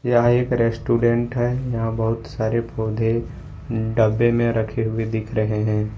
यह एक रेस्टोरेंट है यहां बहुत सारे पौधे डब्बे में रखे हुए दिख रहे हैं।